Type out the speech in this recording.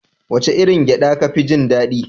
Wace irin gyaɗa kafi jin daɗi?